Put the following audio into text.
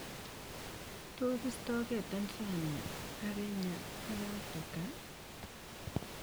Tos istage Tanzania ak Kenya ak Afrika?